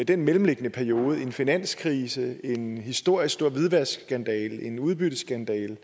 den mellemliggende periode med en finanskrise en historisk store hvidvaskskandale en udbytteskatskandale